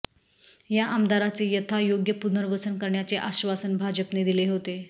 या आमदारांचे यथायोग्य पुनर्वसन करण्याचे आश्वासन भाजपने दिले होते